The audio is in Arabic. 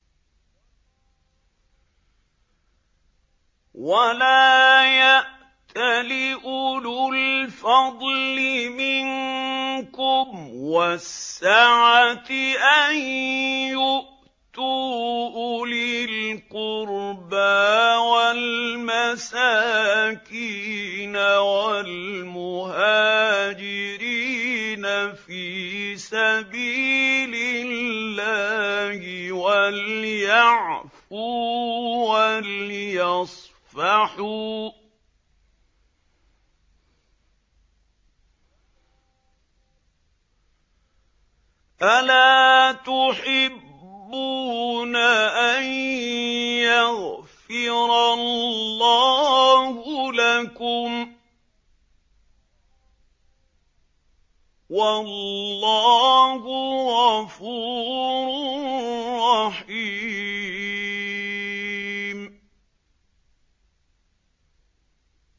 وَلَا يَأْتَلِ أُولُو الْفَضْلِ مِنكُمْ وَالسَّعَةِ أَن يُؤْتُوا أُولِي الْقُرْبَىٰ وَالْمَسَاكِينَ وَالْمُهَاجِرِينَ فِي سَبِيلِ اللَّهِ ۖ وَلْيَعْفُوا وَلْيَصْفَحُوا ۗ أَلَا تُحِبُّونَ أَن يَغْفِرَ اللَّهُ لَكُمْ ۗ وَاللَّهُ غَفُورٌ رَّحِيمٌ